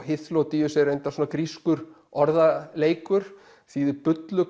Hyþlódíus er reyndar svona grískur orðaleikur þýðir